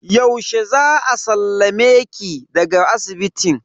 Yaushe za a sallame ki daga asibitin?